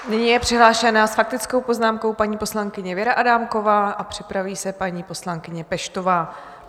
Nyní je přihlášena s faktickou poznámkou paní poslankyně Věra Adámková a připraví se paní poslankyně Peštová.